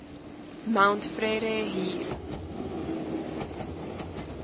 mount frere hier